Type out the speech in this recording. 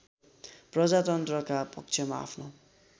प्रजातन्त्रका पक्षमा आफ्नो